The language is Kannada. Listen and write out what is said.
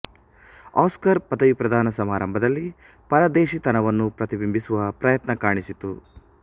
ಆಸ್ಕರ್ ಪದವಿ ಪ್ರದಾನ ಸಮಾರಂಭದಲ್ಲಿ ಪರದೇಶಿತನವನ್ನು ಪ್ರತಿಬಿಂಬಿಸುವ ಪ್ರಯತ್ನ ಕಾಣಿಸಿತು